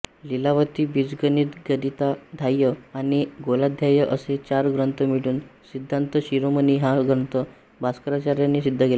लीलावती बीजगणित गणिताध्याय आणि गोलाध्याय असे चार ग्रंथ मिळून सिद्धान्तशिरोमणी हा ग्रंथ भास्कराचार्यानी सिद्ध केला